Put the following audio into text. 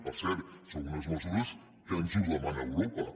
per cert són unes mesures que ens les demana europa